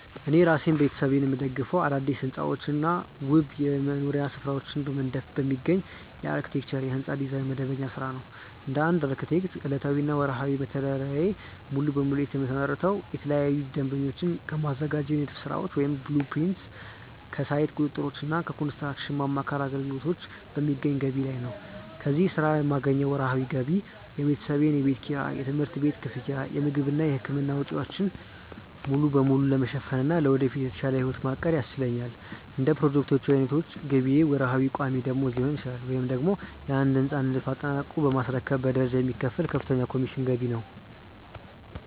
እኔ እራሴንና ቤተሰቤን የምደግፈው አዳዲስ ሕንፃዎችንና ውብ የመኖሪያ ስፍራዎችን በመንደፍ በሚገኝ የአርክቴክቸር (የሕንፃ ዲዛይን) መደበኛ ሥራ ነው። እንደ አንድ አርክቴክት፣ ዕለታዊና ወርሃዊ መተዳደሪያዬ ሙሉ በሙሉ የተመሰረተው ለተለያዩ ደንበኞች ከማዘጋጃቸው የንድፍ ሥራዎች (blueprints)፣ ከሳይት ቁጥጥሮችና ከኮንስትራክሽን ማማከር አገልግሎቶች በሚገኝ ገቢ ላይ ነው። ከዚህ ሥራ የማገኘው ወርሃዊ ገቢ የቤተሰቤን የቤት ኪራይ፣ የትምህርት ቤት ክፍያ፣ የምግብና የሕክምና ወጪዎችን ሙሉ በሙሉ ለመሸፈንና ለወደፊት የተሻለ ሕይወት ለማቀድ ያስችለኛል። እንደ ፕሮጀክቶቹ ዓይነት ገቢዬ ወርሃዊ ቋሚ ደመወዝ ሊሆን ይችላል፤ ወይም ደግሞ የአንድን ሕንፃ ንድፍ አጠናቆ በማስረከብ በደረጃ የሚከፈል ከፍተኛ የኮሚሽን ገቢ ነው።